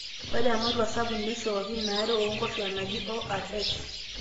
ore ematua sapuk neishooki inaare oonkoshuaak naji ORS